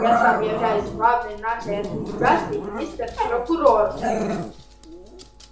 я сам являюсь главной нашей организацией мистер прокурор